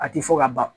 A ti fɔ ka ban